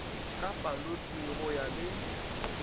ka palote go ya le